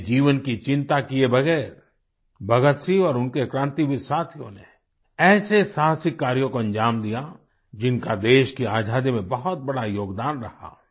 अपने जीवन की चिंता किये बगैर भगतसिंह और उनके क्रांतिवीर साथियों ने ऐसे साहसिक कार्यों को अंजाम दिया जिनका देश की आज़ादी में बहुत बड़ा योगदान रहा